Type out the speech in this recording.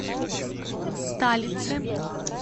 талице